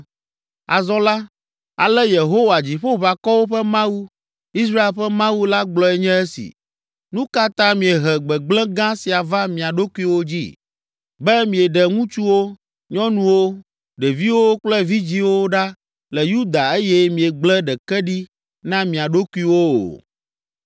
“Azɔ la, ale Yehowa, Dziƒoʋakɔwo ƒe Mawu, Israel ƒe Mawu la gblɔe nye esi: Nu ka ta miehe gbegblẽ gã sia va mia ɖokuiwo dzi, be mieɖe ŋutsuwo, nyɔnuwo, ɖeviwo kple vidzĩwo ɖa le Yuda eye miegble ɖeke ɖi na mia ɖokuiwo o?